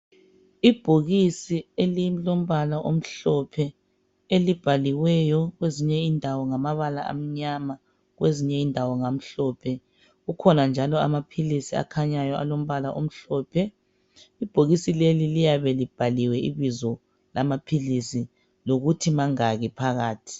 Ibhokisi elilombala omhlophe elibhaliweyo kwezinye indawo ngamabala amnyama kwezinye indawo ngamhlophe .Kukhona njalo amaphilisi akhanyayo alombala omhlophe. Ibhokisi leli liyabe libhaliwe ibizo lamaphilisi lokuthi mangaki phakathi.